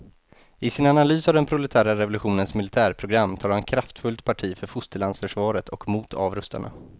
I sin analys av den proletära revolutionens militärprogram tar han kraftfullt parti för fosterlandsförsvaret och mot avrustarna.